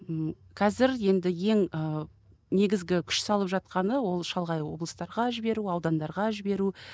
ммм қазір енді ең ы негізгі күш салып жатқаны ол шалғай облыстарға жіберу аудандарға жіберу